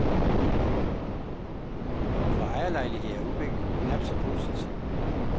For ejerlejligheder er udviklingen knap så positiv.